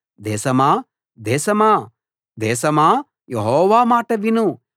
దేశమా దేశమా దేశమా యెహోవా మాట విను